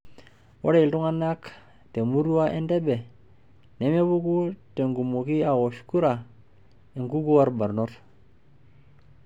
Ore iltung'ana temurua e Entebbe nemepuku tenkumoki aawosh kura enkukuo olbarnot.